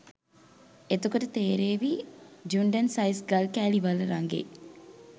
එතකොට තේරේවි ජුන්ඩන් සයිස් ගල් කෑලි වල රඟේ